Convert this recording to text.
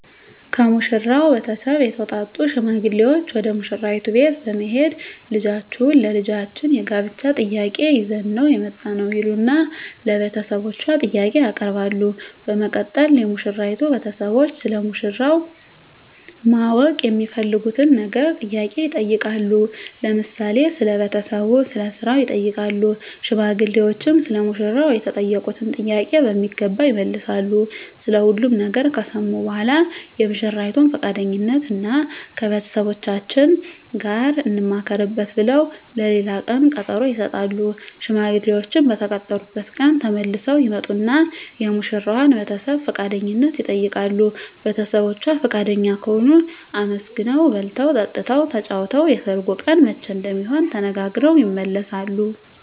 ከሙሽራው ቤተሰብ የተውጣጡ ሽማግሌዎች ወደ ሙሽራይቱ ቤት በመሄድ ልጃችሁን ለልጃችን የጋብቻ ጥያቄ ይዘን ነው የመጣነው ይሉና ለቤተሰቦቿ ጥያቄ ያቀርባሉ በመቀጠል የሙሽራይቱ ቤተሰቦች ስለ ሙሽራው ማወቅ የሚፈልጉትን ነገር ጥያቄ ይጠይቃሉ ለምሳሌ ስለ ቤተሰቡ ስለ ስራው ይጠይቃሉ ሽማግሌዎችም ሰለ ሙሽራው የተጠየቁትን ጥያቄ በሚገባ ይመልሳሉ ስለ ሁሉም ነገር ከሰሙ በኃላ የሙሽራይቱን ፍቃደኝነት እና ከቤተሰቦቻችን ጋር እንማከርበት ብለው ለሌላ ቀን ቀጠሮ ይሰጣሉ። ሽማግሌዎችም በተቀጠሩበት ቀን ተመልሰው ይመጡና የሙሽራዋን ቤተሰብ ፍቃደኝነት ይጠይቃሉ ቤተሰቦቿ ፍቃደኛ ከሆኑ አመስግነው በልተው ጠጥተው ተጫውተው የሰርጉ ቀን መቼ እንደሚሆን ተነጋግረው ይመለሳሉ።